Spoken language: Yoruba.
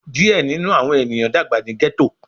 Diẹ ninu awọn eniyan dagba ni ghetto